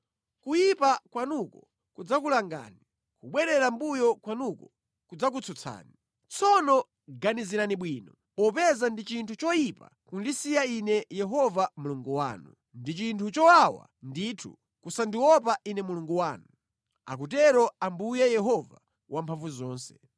Kuyipa kwanuko kudzakulangani; kubwerera mʼmbuyo kwanuko kudzakutsutsani. Tsono ganizirani bwino, popeza ndi chinthu choyipa kundisiya Ine Yehova Mulungu wanu; ndi chinthu chowawa ndithu kusandiopa Ine Mulungu wanu. Akutero Ambuye Yehova Wamphamvuzonse.